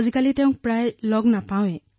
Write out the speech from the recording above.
আজিকালি তেওঁ ঘৰলৈ আহিবলৈ বেছি সময় নাপায়